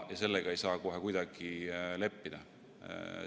Sellega ei saa kohe kuidagi leppida.